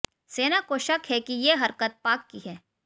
सेना को शक है कि ये हरकत पाक की है